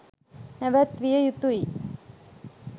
නැවැත්විය යුතුයි